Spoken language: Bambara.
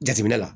Jateminɛ la